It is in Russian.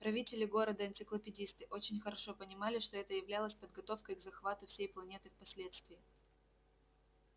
правители города энциклопедисты очень хорошо понимали что это являлось подготовкой к захвату всей планеты впоследствии